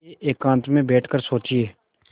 जाइए एकांत में बैठ कर सोचिए